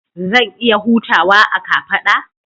Zan iya hutawa a kafada?